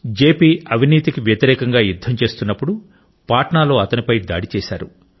జెపి అవినీతికి వ్యతిరేకంగా యుద్ధం చేస్తున్నప్పుడు పాట్నాలో అతనిపై దాడి చేశారు